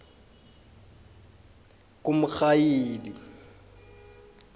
kumrhayili